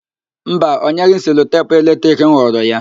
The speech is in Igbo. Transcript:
Mba, ọ nyeghị m selotepu eletrik m ghọrọ ya.